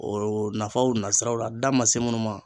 Oo nafaw nasiraw la da ma se munnu ma